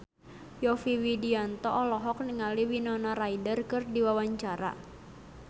Yovie Widianto olohok ningali Winona Ryder keur diwawancara